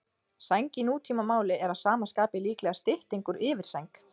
Sæng í nútímamáli er að sama skapi líklega stytting úr yfirsæng.